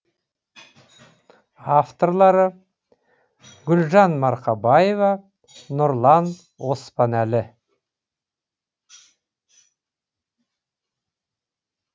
авторлары гүлжан марқабаева нұрлан оспанәлі